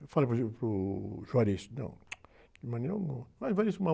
Eu falei para o, para o, não, de maneira alguma. Mas vai...